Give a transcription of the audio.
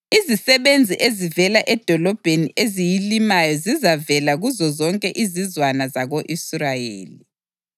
Izisebenzi ezivela edolobheni eziyilimayo zizavela kuzozonke izizwana zako-Israyeli.